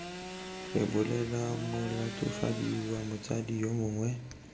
rebolela molatofadiwa motsadi yo mongwe